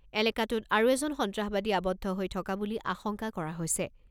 এলেকাটোত আৰু এজন সন্ত্ৰাসবাদী আৱদ্ধ হৈ থকা বুলি আশংকা কৰা হৈছে।